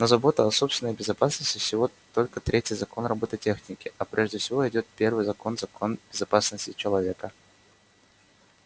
но забота о собственной безопасности всего только третий закон роботехники а прежде всего идёт первый закон-закон безопасности человека